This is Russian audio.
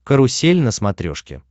карусель на смотрешке